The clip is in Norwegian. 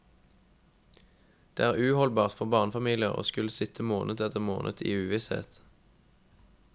Det er uholdbart for barnefamilier å skulle sitte måned etter måned i uvisshet.